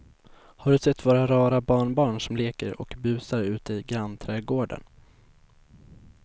Har du sett våra rara barnbarn som leker och busar ute i grannträdgården!